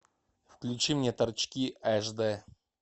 включи мне торчки аш дэ